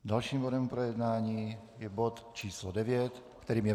Dalším bodem jednání je bod číslo 9, kterým je